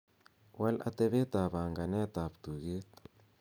wal atebet ab panganet ab tuget